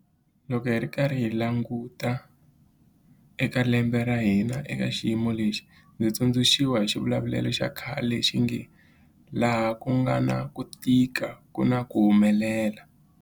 Loko hi karhi hi languta eka lembe ra hina eka xiyimo lexi, ndzi tsundzuxiwa hi xivulavulelo xa khale lexi nge 'laha ku nga na ku tika ku na ku humelela'.